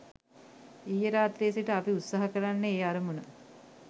ඊයේ රාත්‍රියේ සිට අපි උත්සාහ කරන්නේ ඒ අරමුණ